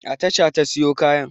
A tasha ta siyo kayan.